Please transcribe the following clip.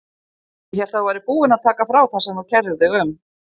Ég hélt að þú værir búin að taka frá það sem þú kærðir þig um.